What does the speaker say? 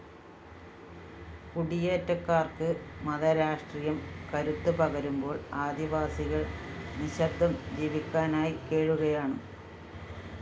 കുടിയേറ്റക്കാർക്ക് മതരാഷ്ട്രീയം കരുത്ത് പകരുമ്പോൾ ആദിവാസികൾ നിശബ്ദം ജീവിക്കാനായി കേഴുകയാണ്